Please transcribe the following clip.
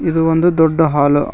ಇದು ಒಂದು ದೊಡ್ಡ ಹಾಲ್ ಅ--